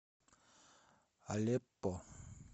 алеппо